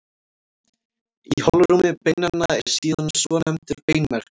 Í holrúmi beinanna er síðan svonefndur beinmergur.